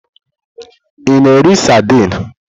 Ị na-eri saidini?